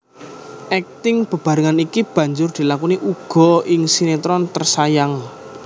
Akting bebarengan iki banjur dilakoni uga ing sinetron Tersayang